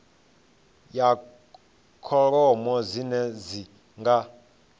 ya kholomo dzine dzi nga